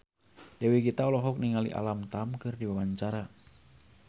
Dewi Gita olohok ningali Alam Tam keur diwawancara